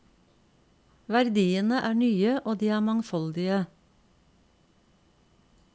Verdiene er nye og de er mangfoldige.